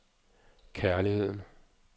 kærligheden